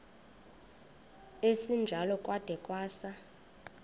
esinjalo kwada kwasa